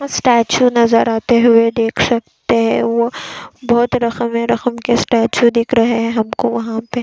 statue नज़र आते हुए देख सकते है वह बहुत रखम-रखम के स्टैचू दिख रहे हैं हमको वहाँ पे--